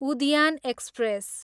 उद्यान एक्सप्रेस